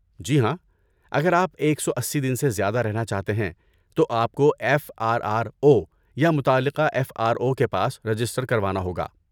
جی ہاں، اگر آپ ایک سو اسی دن سے زیادہ رہنا چاہتے ہیں تو آپ کو ایف آر آر او یا متعلقہ ایف آر او کے پاس رجسٹر کروانا ہوگا